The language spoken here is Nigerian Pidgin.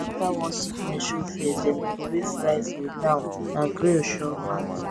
after one sickness show face dem throway fry food now na grill sure pass